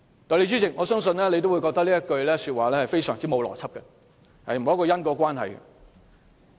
"代理主席，相信你也會認為他這句話相當欠邏輯，沒有因果關係。